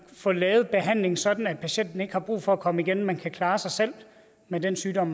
få lavet behandlingen sådan at patienten ikke har brug for at komme igen men kan klare sig selv med den sygdom